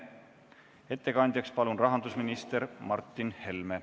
Ettekandjaks palun rahandusminister Martin Helme.